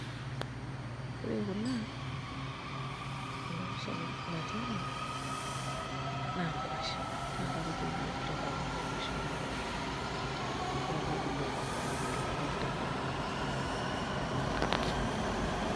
Ore kuna, ena pisha natii ene naa nkuashen na kakijo iyiook tenkop ang' nkuashen orkokoyo naa kebulu aitobiraki oleng' tenkop ang'.